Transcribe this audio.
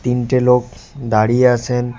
তিনটে লোক দাঁড়িয়ে আছেন।